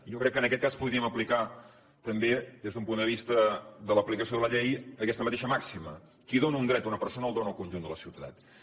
jo crec que en aquest cas podríem aplicar també des d’un punt de vista de l’aplicació de la llei aquesta mateixa màxima qui dóna un dret a una persona el dóna al conjunt de la ciutadania